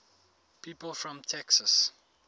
people from texas